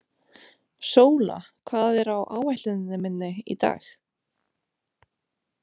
Sóla, hvað er á áætluninni minni í dag?